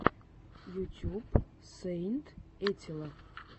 ютюб сэйнт этилла